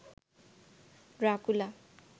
Dracula